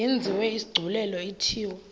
yenziwe isigculelo ithiwe